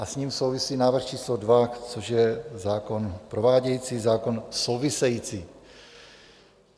A s ním souvisí návrh číslo 2, což je zákon provádějící, zákon související.